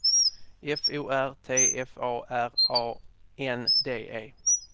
F O R T F A R A N D E